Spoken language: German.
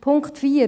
Punkt 4